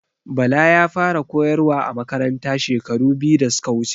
Bala ya fara a koyarwa a Makaranta shekaru biyu da suka wuce